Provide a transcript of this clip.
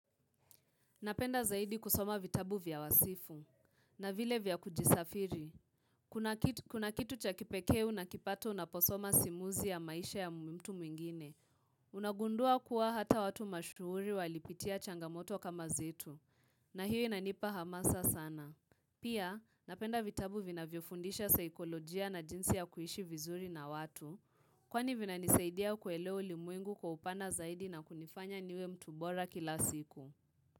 Napenda zaidi kusoma vitabu vya wasifu na vile vya kujisafiri. Kuna kitu cha kipekee na kipata na unaposoma simuzi ya maisha ya mtu mwingine. Unagundua kuwa hata watu mashuhuri walipitia changamoto kama zitu. Na hiyo inanipa hamasa sana. Pia napenda vitabu vina viofundisha saikolojia na jinsi ya kuishi vizuri na watu kwani vina nisaidia kuelewa ulimwengu kwa upana zaidi na kunifanya niwe mtubora kila siku.